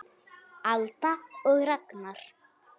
Alda og Ragnar.